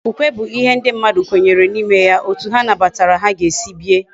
Okwukwe bu ihe ndi mmadu kwenyere na ime ya. Etu ha nabatara ha ga esi bie